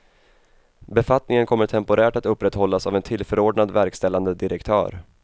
Befattningen kommer temporärt att upprätthållas av en tillförordnad verkställande direktör.